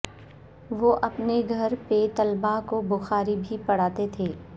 وہ اپنے گھر پہ طلبہ کو بخاری بھی پڑھاتے تھے